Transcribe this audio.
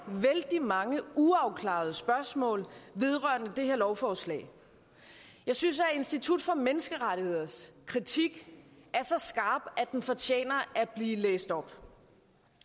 vældig mange uafklarede spørgsmål vedrørende det her lovforslag jeg synes at institut for menneskerettigheders kritik er så skarp at den fortjener at blive læst op